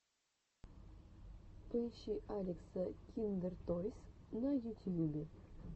поищи алекса киндертойс на ютьюбе